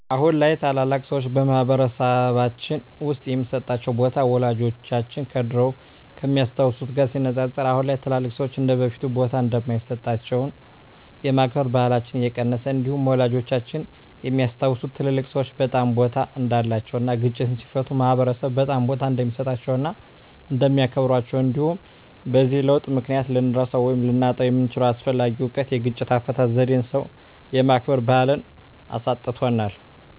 አሁን ላይ ታላላቅ ሰዎች በማህበረሰልባችን ውስጥ የሚሰጣቸው ቦታ ወላጆቻችን ከድሮው ከሚያስታውት ጋር ሲነፃፀር አሁን ላይ ትልልቅ ሰዎች እንደበፊቱ ቦታ እንደማይሰጣቸውና የማክበር ባህላችን እንደቀነሰ እንዲሁም ወላጆቻችን የሚያስታውሱት ትልልቅ ሰዎች በጣም ቦታ እንዳላቸው እና ግጭትን ሲፈቱ ማህበረሰብ በጣም ቦታ እንደሚሰጣቸው እና እንደሚያከብራቸው እንዲሁም በዚህ ለውጥ ምክንያት ልንረሳው ወይም ልናጣው የምንችለው አስፈላጊ እውቀት የግጭት አፈታት ዜዴን ሰው የማክበር ባህልን አሳጥቶናል።